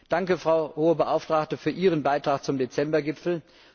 Danke, Frau Hohe Beauftragte, für Ihren Beitrag zum Dezember Gipfel.